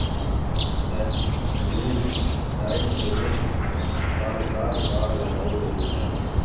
نینسکیوک site کے گرد خاردار باڑ لگائی گئی ہے